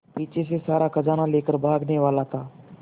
पीछे से सारा खजाना लेकर भागने वाला था